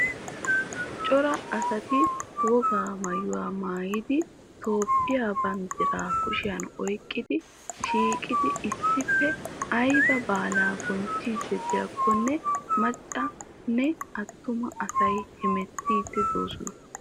Cora asati wogaa maayuwa maayidi toophphiya banddiraa kushiyan oyqqidi shiiqiidi issippe ayba baalaa bonchchiiddi de'iyakkonne macca nne attuma asay hamettiiddi de'oosona.